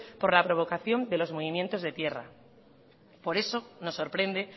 por la provocación de los movimientos de tierra por eso nos sorprende